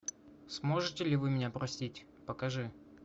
сможете ли вы меня простить покажи